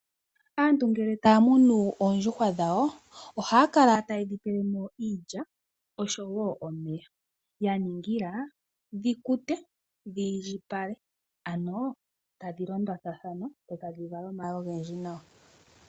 Aantu ngele taa munu oondjuhwa dhawo, ohaya kala taye dhi pele mo iilya osho wo omeya, ya ningila dhi kute, dhi indjipala. Ano tadhi londathana dho tadhi vala omayi ogendji nawa